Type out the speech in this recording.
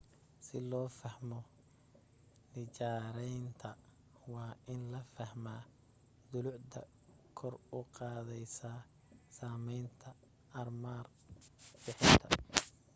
si loo fahmo nijaaraynta waa in la fahmaa dulucda kor u qaadaysa samaynta armar bixinta